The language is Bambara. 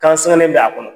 Kansɛrɛne bɛ a kɔnɔ